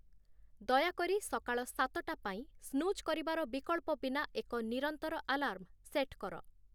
ଦୟାକରି ସକାଳ ସାତଟା ପାଇଁ ସ୍ନୁଜ୍ କରିବାର ବିକଳ୍ପ ବିନା ଏକ ନିରନ୍ତର ଆଲାର୍ମ ସେଟ୍ କର